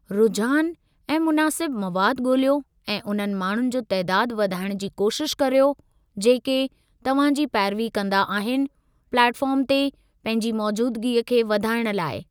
रुझान ऐं मुनासिब मवादु ॻोल्हियो ऐं उन्हनि माण्हुनि जो तइदादु वधाइणु जी कोशिश करियो जेके तव्हां जी पैरवी कंदा आहिनि प्लेट फ़ार्म ते पंहिंजी मौजूदगीअ खे वधाइणु लाइ।